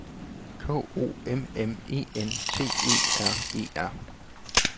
K O M M E N T E R E R